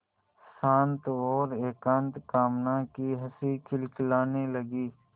शांत और एकांत कामना की हँसी खिलखिलाने लगी